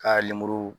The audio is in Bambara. Ka lemuru